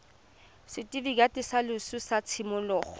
setifikeiti sa loso sa tshimologo